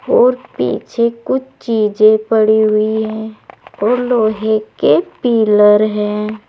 और पीछे कुछ चीजें पड़ी हुई हैं और लोहे के पीलर है।